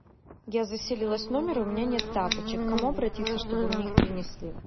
я заселилась в номер и у меня нет тапочек к кому обратиться чтобы мне их принесли